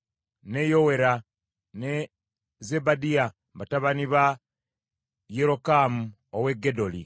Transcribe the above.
ne Yowera ne Zebadiya, batabani ba yerokamu ow’e Gedoli.